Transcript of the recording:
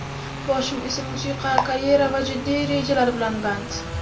Boshim esa musiqa, karyera va jiddiy rejalar bilan band.